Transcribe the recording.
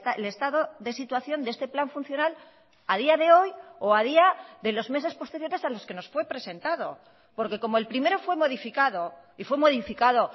el estado de situación de este plan funcional a día de hoy o a día de los meses posteriores a los que nos fue presentado porque como el primero fue modificado y fue modificado